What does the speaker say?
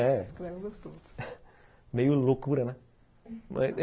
É... Meio loucura, né?